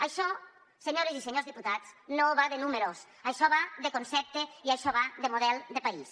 això senyores i senyors diputats no va de números això va de concepte i això va de model de país